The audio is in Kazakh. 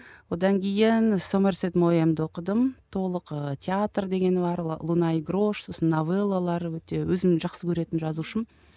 одан кейін сомерсет ноянды оқыдым толық ыыы театр дегені бар луна и грош сосын новеллалар өте өзім жақсы көретін жазушым